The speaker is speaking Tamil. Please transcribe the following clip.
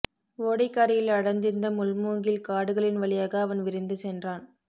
ஓடைக்கரையில் அடர்ந்திருந்த முள்மூங்கில் காடுகளின் வழியாக அவன் விரைந்து சென்றான்